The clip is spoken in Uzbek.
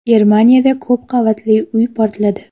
Germaniyada ko‘p qavatli uy portladi.